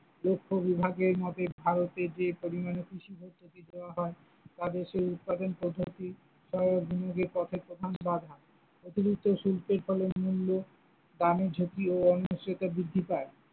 দক্ষ বিভাগের মতে ভারতে যে পরিমানে কৃষি পদ্ধতি দেওয়া হয় তা দেশের উৎপাদন পদ্ধতি সহায়ক বিনিয়োগের পথে প্রধান বাধা, অতিরিক্ত শুল্কের ফলে মূল্য গ্রামের ঝুঁকি ও বৃদ্ধি পায়।